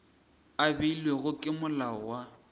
a beilwego ke molao wa